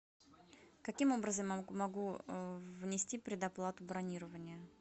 каким образом я могу внести предоплату бронирования